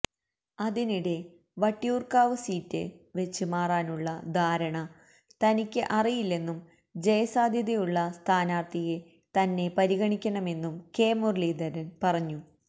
അതിനിടെ വട്ടിയൂര്ക്കാവ് സീറ്റ് വെച്ച് മാറാനുള്ള ധാരണ തനിക്ക് അറിയില്ലെന്നും ജയസാധ്യതയുള്ള സ്ഥാനാര്ത്ഥിയെ തന്നെ പരിഗണിക്കണമെന്നും കെ മുരളീധരന് പറഞ്ഞു